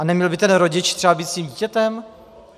A neměl by ten rodič třeba být s tím dítětem?